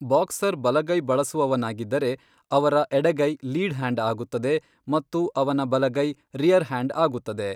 Boxer ಬಲಗೈ ಬಳಸುವವನಾಗಿದ್ದರೆ, ಅವರ ಎಡಗೈ ಲೀಡ್ ಹ್ಯಾಂಡ್ ಆಗುತ್ತದೆ ಮತ್ತು ಅವನ ಬಲಗೈ ರೀಯರ್ ಹ್ಯಾಂಡ್ ಆಗುತ್ತದೆ.